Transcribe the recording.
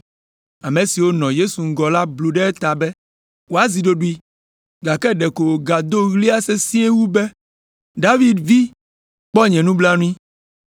Ame siwo nɔ Yesu ŋgɔ la blu ɖe eta be wòazi ɖoɖoe, gake ɖeko wògado ɣlia sesĩe wu be, “David Vi, kpɔ nye nublanui.”